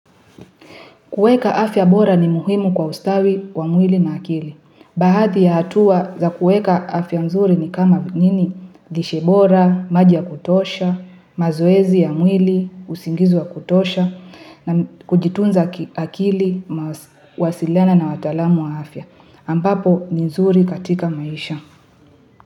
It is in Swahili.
Kuweka afya bora ni muhimu kwa ustawi wa mwili na akili. Baadhi ya hatua za kuweka afya nzuri ni kama nini? Lishe bora, maji ya kutosha, mazoezi ya mwili, usingizi wa kutosha, na kujitunza akili, wasiliana na wataalamu wa afya. Ampapo ni nzuri katika maisha.